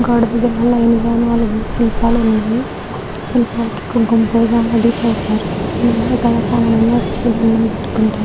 గోడ దగ్గర లైన్ గా నాలుగు శిల్పాలు ఉన్నాయి. శిల్పాలకి కుంకుమ పూజ అది చేశారు. ఇక్కడికి చాలా మంది వచ్చి దండం పెట్టుకుంటారు.